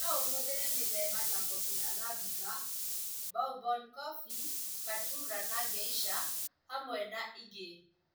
No ũhũthĩre mĩthemba ta coffee arabica, bourbon coffee, caturra na Geisha hamwe na ĩngĩ